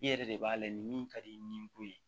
I yɛrɛ de b'a lajɛ ni min ka di i ye nin bon ye